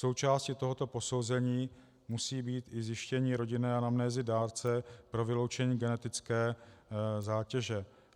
Součástí tohoto posouzení musí být i zjištění rodinné anamnézy dárce pro vyloučení genetické zátěže.